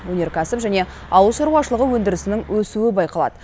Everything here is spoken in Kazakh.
өнеркәсіп және ауыл шаруашылығы өндірісінің өсуі байқалады